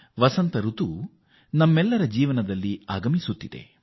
ವಸಂತ ಋತು ಈಗ ನಮ್ಮ ಬದುಕಿನಲ್ಲಿ ಕಾಲಿಡುತ್ತಿದೆ